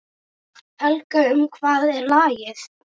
Helga, um hvað er lagið?